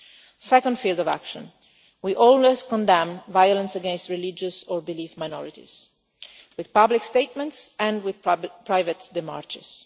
In the second field of action we always condemn violence against religious or belief minorities with public statements and with private demarches.